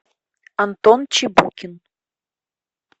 антон чебукин